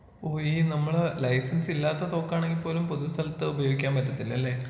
ഓഹ് ഈ നമ്മള് ലൈസൻസ് ഇല്ലാത്ത തോക്കാണെങ്കിൽ പോലും പൊതു സ്ഥലത്ത് ഉപയോഗിക്കാൻ പറ്റത്തിലല്ലേ?